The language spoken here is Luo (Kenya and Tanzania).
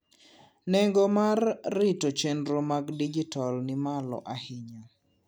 nengo mar rito chenro mag dijital ni malo ayinya